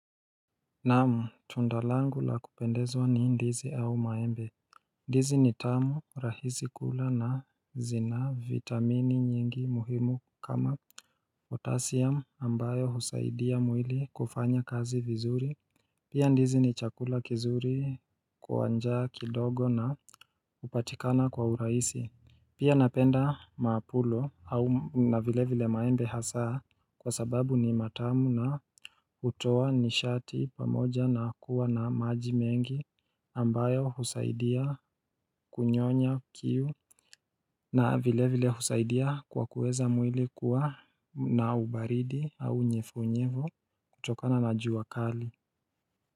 Naam tunda langu la kupendezwa ni ndizi au maembe. Ndizi ni tamu rahisi kula na zina vitamini nyingi muhimu kama potassium ambayo husaidia mwili kufanya kazi vizuri Pia ndizi ni chakula kizuri kwa njaa kidogo na upatikana kwa urahisi. Pia napenda maapulo au na vile vile maembe hasaa kwa sababu ni matamu na utoa nishati pamoja na kuwa na maji mengi ambayo husaidia kunyonya kiu na vile vile husaidia kwa kuweza mwili kuwa na ubaridi au nyevunyevu kutokana na jus kali.